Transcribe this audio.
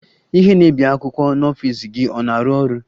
Ihe na-ebi akwụkwọ n'ọfịs gị ọ na-arụ ọrụ?